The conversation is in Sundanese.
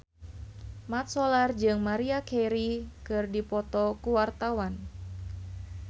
Mat Solar jeung Maria Carey keur dipoto ku wartawan